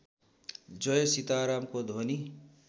जय सीतारामको ध्वनि